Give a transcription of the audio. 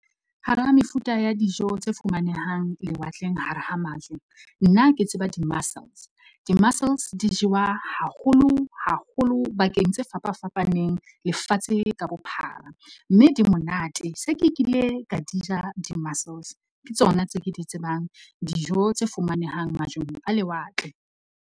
Hara mefuta ya dijo tse fumanehang lewatleng hara ho majwe, nna ke tseba di-mussels. Di-mussels di jewa haholo haholo bakeng tse fapa fapaneng eng lefatshe ka bophara, mme di monate. Se ke kile ka di ja, di-mussels ke tsona tse ke di tsebang dijo tse fumanehang majweng a lewatle.